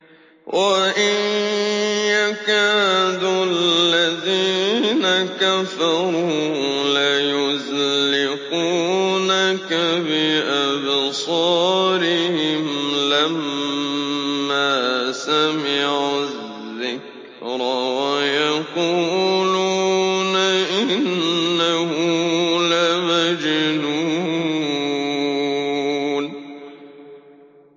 وَإِن يَكَادُ الَّذِينَ كَفَرُوا لَيُزْلِقُونَكَ بِأَبْصَارِهِمْ لَمَّا سَمِعُوا الذِّكْرَ وَيَقُولُونَ إِنَّهُ لَمَجْنُونٌ